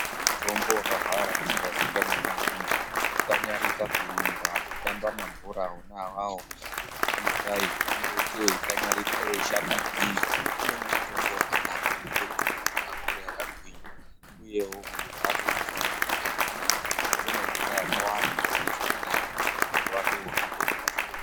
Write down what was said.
Mutombo wakahwara usingaziikani ngeamweni kukanyarika kuumba kutamba mabhora wona iwawo kungodayi uchimboita weyikanyarika weyishanda maningi umweni mutombo wakanaka unoite kuti mundu akure akagwinya uyewu munhu wacho unofanirwa kuti amwe mvura yakawanda zvoite zvakanaka muwiri wake wohambe ropa zvakanaka.